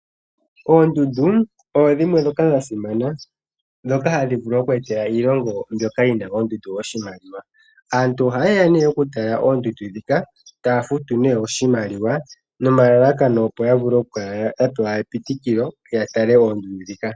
Oondundu odho dhimwe ndhoka dha simana dhoka hadhi vulu okweetela iilongo mbyoka yi na oondundu oshimaliwa. Aantu oha yeya nee okutala oondundu ndhika taya futu nee oshimaliwa nomalalakano opo ya vule okukala ya pewa epitikilo ya tale oondundu ndhika.